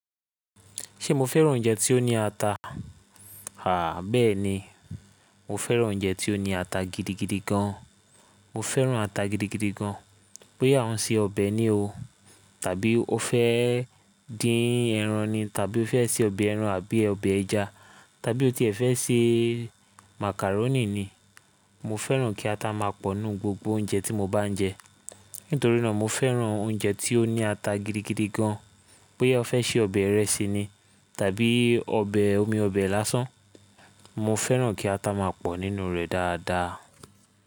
Ṣe mo fẹ́ràn oúnjẹ tí ó ní ata? Àá bẹ́ẹ̀ni, mo fẹ́ràn oúnjẹ tí ó ní ata gidigidi gan. Mo fẹ́ràn ata gidigidi gan, bóyá òun ṣe ọbẹ̀ ni o, tàbí o fẹ́ dín ẹran ni, tàbí o fẹ́ ṣe ọbẹ̀ ẹran àbí ọbẹ̀ ẹja, tàbí ó tiẹ̀ fẹ́ ṣe macaroni ni. Mo fẹ́ràn kí ata máa pọ̀ ńnú gbogbo oúnjẹ tí mo bá ń jẹ. Nítorí náà mo fẹ́ràn oúnjẹ tí ó ní ata gidigidi gan, bóyá o fẹ́ ṣe ọbẹ̀ ìrẹsì ni tàbí ọbẹ̀ omi ọbẹ̀ lásán, mo fẹ́ràn kí ata máa pọ̀ nínú rẹ̀ dáadáa.